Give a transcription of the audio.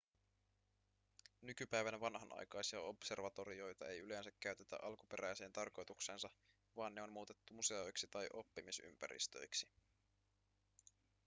nykypäivänä vanhanaikaisia observatorioita ei yleensä käytetä alkuperäiseen tarkoitukseensa vaan ne on muutettu museoiksi tai oppimisympäristöiksi